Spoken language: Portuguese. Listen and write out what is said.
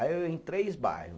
Aí eu ia em três bairro.